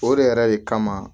O de yɛrɛ de kama